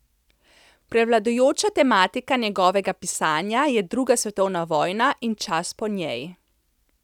Prevladujoča tematika njegovega pisanja je druga svetovna vojna in čas po njej.